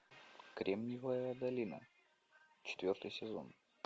кремниевая долина четвертый сезон